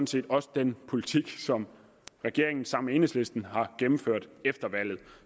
set også den politik som regeringen sammen med enhedslisten har gennemført efter valget